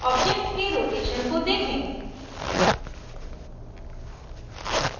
object के rotation को देखें